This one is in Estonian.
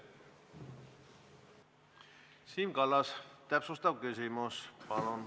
Siim Kallas, täpsustav küsimus, palun!